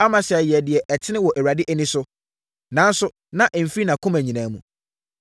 Amasia yɛɛ deɛ ɛtene wɔ Awurade ani, nanso na ɛmfiri nʼakoma nyinaa mu.